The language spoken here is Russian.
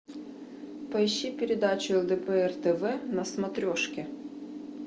поищи передачу лдпр тв на смотрешке